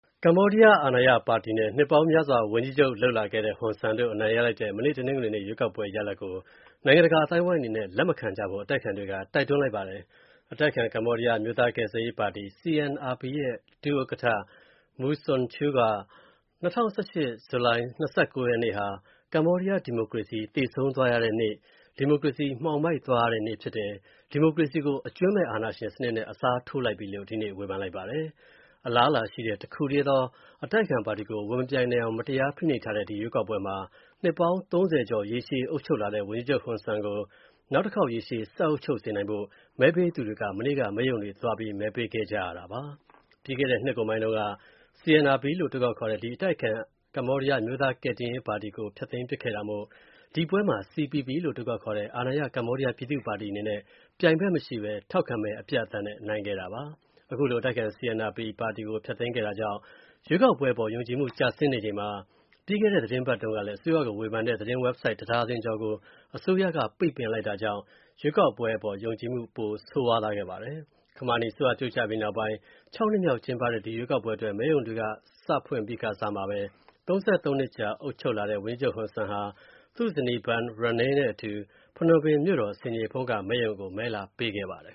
ကမ္ဘောဒီးယား အာဏာရပါတီနဲ့ နှစ်ပေါင်းများစွာ ဝန်ကြီးချုပ်လုပ်လာခဲ့တဲ့ ဟွန်ဆန်းတို့ အနိုင်ရလိုက်တဲ့၊ မနေ့ တနင်္ဂနွေနေ့ ရွေးကောက်ပွဲ ရလဒ်ကို၊ နိုင်ငံတကာအသိုင်းအဝိုင်းအနေနဲ့ လက်မခံကြဖို့ အတိုက်အခံတွေက တိုက်တွန်းလိုက်ပါတယ်။ အတိုက်အခံ ကမ္ဘောဒီးယား အမျိုးသားကယ်ဆယ်ရေးပါတီ CNRP ရဲ့ ဒု ဥက္ကဌ Mu Sochua က၊ ၂၀၁၈ ခုနှစ် ဇူလိုင်လ ၂၉ ရက်နေ့ ဟာ၊ ကမ္ဘောဒီးယား ဒီမိုကရေစီ သေဆုံးသွားရတဲ့နေ့၊ ဒီမိုကရေစီမှောင်မိုက်သွားရတဲ့နေ့ဖြစ်တယ်၊ ဒီမိုကရေစီကို အကြွင်းမဲ့အာဏာရှင်နဲ့ အစားထိုးလိုက်ပြီ်လို့၊ ဒီနေ့ ဝေဖန်လိုက်ပါတယ်။ အလားအလာရှိတဲ့ တစ်ခုတည်းသော အတိုက်အခံပါတီ ဝင်မပြိုင်နိုင်အောင် မတရားဖိနှိပ်ထားတဲ့ ဒီရွေးကောက်ပွဲမှာ၊ နှစ်ပေါင်း ၃၀ ကျော် ရေရှည်အုပ်ချုပ်လာတဲ့ ဝန်ကြီးချုပ် Hun Sen ကို နောက်ထပ်ရေရှည်ဆက်အုပ်ချုပ်စေနိုင်ဖို့၊ မဲပေးသူတွေ မနေ့က မဲရုံတွေသွား မဲပေးခဲ့ကြရတာပါ။ ပြီးခဲ့တဲ့ နှစ်ကုန်ပိုင်းတုန်းက၊ CNRP လို့ အတိုခေါက်ခေါ်တဲ့ ဒီအတိုက်အခံ ကမ္ဘောဒီးယား အမျိုးသားကယ်တယ်ရေးပါတီကို ဖျက်သိမ်းပစ်ခဲတာမို့၊ ဒီပွဲမှာ CPP လို့အတိုခေါက်ခေါ်တဲ့ အာဏာရ ကမ္ဘောဒီးယားပြည်သူ့ပါတီအနေနဲ့၊ ပြိုင်ဖက်မရှိဘဲ ထောက်ခံမဲ အပြတ်အသတ်နဲ့ နိုင်ခဲ့တာပါ။ ခုလို အတိုက်အခံ CNRP ကို ဖျက်သိမ်းခဲ့တာကြောင့် ရွေးကောက်ပွဲအပေါ် ယုံကြည်မှုကျဆင်းနေချိန်မှာ၊ ပြီးခဲ့တဲ့ သတင်းပတ်ကုန်တုံးကလည်း၊ အစိုးရကို ဝေဖန်တဲ့ သတင်းဝက်ဘ်ဆိုဒ် (၁) ဒါဇင်ကျော်ကို အစိုးရက ရုတ်တရက် ပိတ်ပင်လိုက်တာကြောင့် ရွေးကောက်ပွဲ အပေါ် ယုံကြည်မှု ပိုကျဆင်းသွားခဲ့ပါတယ်။ ခမာနီအစိုးရ ပြုတ်ကျပြီးနောက်ပိုင်း ၆ ကြိမ်မြောက် ကျင်းပတဲ့ ဒီရွေးကောက်ပွဲအတွက်၊ မဲရုံတွေ မနေ့က စဖွင့်ပြီးကာစမှာပဲ၊ ၃၃ နှစ်ကြာ အုပ်ချုပ်လာခဲ့တဲ့ ဝန်ကြီးချုပ် Hun Sen ဟာ သူ့ ဇနီး Bun Rany နဲ့အတူ၊ ဖနွမ်ပင်မြို့တော် ဆင်ခြေဖုံးက မဲရုံကို မဲလာပေးခဲ့ပါတယ်